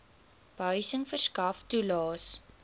behuising verskaf toelaes